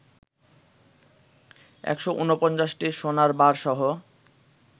১৪৯টি সোনারবারসহ